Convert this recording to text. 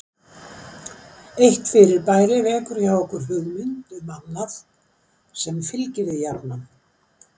Eitt fyrirbæri vekur hjá okkur hugmynd um annað sem fylgir því jafnan.